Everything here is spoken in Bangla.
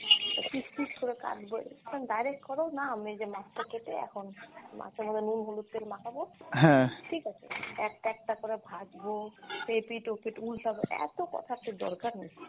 piece piece করে কাটবো এইরকম direct করো না, এই যে মাছটা কেটে এখন মাছের মধ্যে নুন, হলুদ, তেল মাখাবো ঠিক আছে, একটা একটা করে ভাজবো, এপিঠ ওপিঠ উল্টাবো এতো কথার তো দরকার নেই।